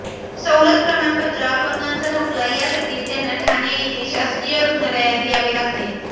सवलत प्रमाणपत्र अपंगांचा दाखला यासाठी त्यांना ठाणे येथे शासकीय रुग्णालयात यावे लागते